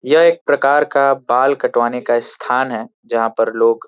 यह एक प्रकार का बाल कटवाने का स्थान है जहां पर लोग--